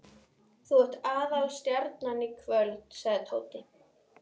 Þú ert aðalstjarnan í kvöld sagði Tóti.